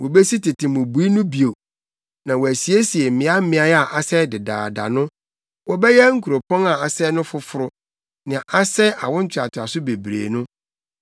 Wobesi tete mmubui no bio, na wɔasiesie mmeaemmeae a asɛe dedaada no; wɔbɛyɛ nkuropɔn a asɛe no foforo nea asɛe awo ntoatoaso bebree no.